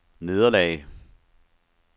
nederlag